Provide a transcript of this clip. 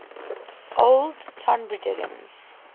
old tonbridgians